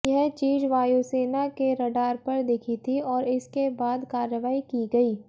यह चीज वायुसेना के रडार पर दिखी थी और इसके बाद कार्रवाई की गई